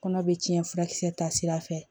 Kɔnɔ bɛ tiɲɛ furakisɛ ta sira fɛ